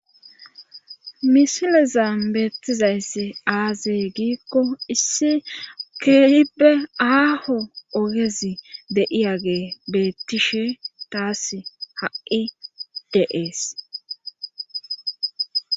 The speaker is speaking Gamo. Misile zam beettizayss aazey giikko issi keehibe aaho ogezi de7iyagee beettishe taas ha7i de7ees